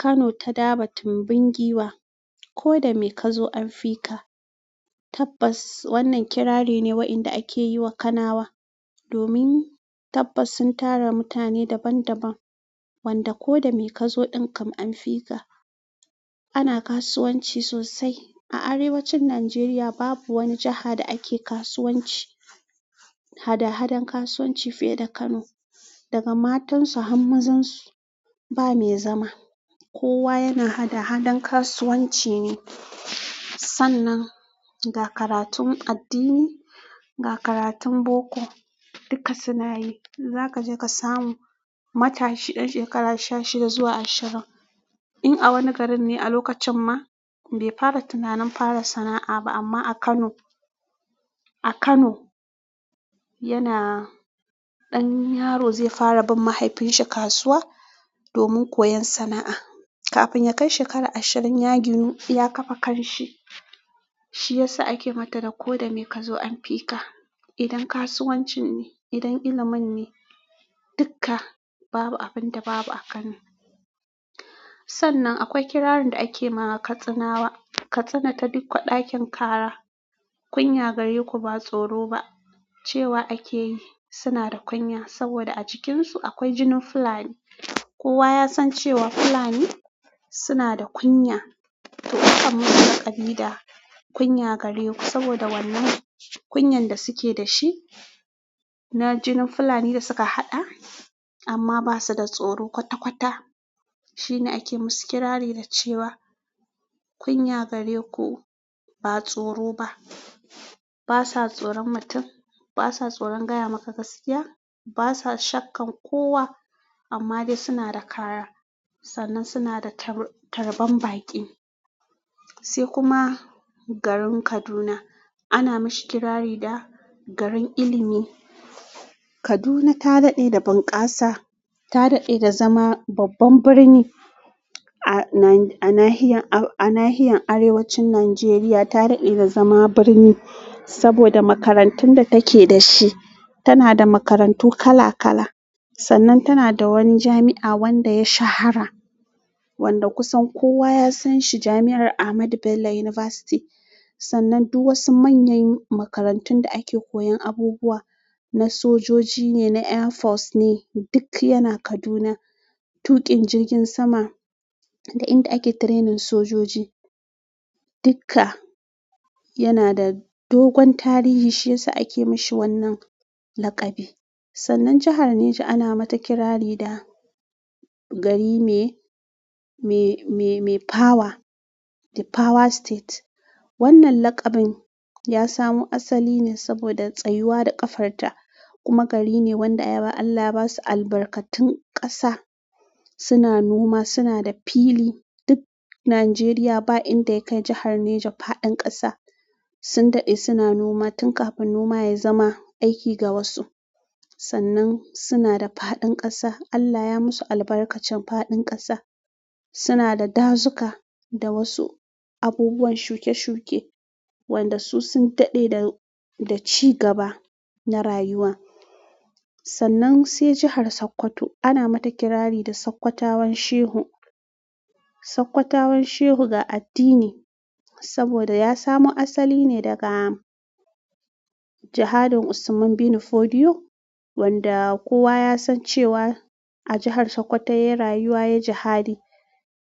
Kano ta dabo tumbin giwa. Ko da me ka zo an fi ka. Tabbas wannan kirari ne waɗanda ake yiwa Kanawa. Domin tabbas sun tara mutane daban daban wanda ko da me ka zo ɗinkan an fi ka. Ana kasuwanci sosai. A arewacin Najeriya babu wani jaha da ake kasuwanci, haɗa hadan kasuwanci fiye da Kano. Daga matansu har mazansu ba me zama. Kowa yana haɗa hadan kasuwanci ne. Sannan ga karatun addini, ga karatun boko dukka suna yi. Za ka je ka samu matashi ɗan shekara sha shida zuwa ashirin. In a wani garin ne a lokacin ma bai fara tunanin fara sana'a ba amma a Kano, a Kano yana ɗan yaro zai fara bin mahaifinsa kasuwa domin koyon sana'a. Kafin yakai shekara ashirin ya ginu ya ƙafa kanshi shi ya sa ake mata da "ko da me ka zo an fi ka". Idan kasuwancin ne, idan ilimin ne, dukka babu abin da babu a Kano. Sannan akwai kirarin da ake ma Katsinawa. Katsina ta dikko ɗakin ƙara. Kunya gareku ba tsoro ba. Cewa akeyi suna da kunya saboda a cikinsu akwai jinin Fulani. Kowa ya san cewa Fulani suna da kunya. To aka musu laƙabi da "kunya gare ku" saboda wannan kunyan da suke da shi na jinin Fulani da suka haɗa amma ba su da tsoro kwata-kwata. Shine ake musu kirari na cewa kunya gareku ba tsoro ba ba sa tsoron mutum, ba sa tsoron gaya maka gaskiya, ba sa shakkan kowa amma dai suna da ƙara. Sannan suna da tar tarban baƙi. Sai kuma garin Kaduna. Ana mashi kirari da garin ilimi. Kaduna ta daɗe da bunƙasa, ta daɗe da zama babban birni a na a nahiyar a nahiyar Arewacin Najeriya. Ta daɗe da zama birni saboda makarantun da take da shi. Tana da makarantu kala kala. Sannan tana da wani jami'a wanda ya shahara wanda kusan kowa ya san shi. Jami'ar Ahmadu Bello University. Sannan duk wasu manyan makarantun da ake koyan abubuwa na sojoji ne na airforce ne duk yana kaduna tuƙin jirgin sama da inda ake training sojoji. Dukka yana da dogon tarihi shi ya sa ake mashi wannan laƙabi. Sannan jahar Neja ana mata kirari da gari me, me, me, me power. The power state. Wannan laƙabin ya samu asali ne saboda tsayuwa da ƙafarta kuma gari ne wanda Allah ya ba su albarkatun ƙasa. Suna noma, suna da fili. Duk Najeriya ba inda ya kai jahar Neja faɗin ƙasa. Sun daɗe suna noma tun kafin noma ya zama aiki ga wasu. Sannan suna da faɗin ƙasa. Allah ya musu albarkacin faɗin ƙasa. Suna da dazuka da wasu abubuwan shuke-shuke wanda su sun daɗe da, da ci gaba na rayuwa. Sannan sai jahar Sokoto. Ana mata kirari da Sokotawan Shehu. Sokotawan Shehu ga addini saboda ya samo asali ne daga jahadin Usman bin Fodio wanda kowa ya san cewa a jahar Sokoto yayi rayuwa, yayi jahadi.